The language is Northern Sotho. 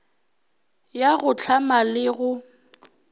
ya go hlama le go